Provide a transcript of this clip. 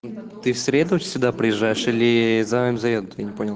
ты в среду сюда приезжаешь или змз